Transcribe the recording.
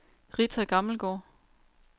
Rita Gammelgaard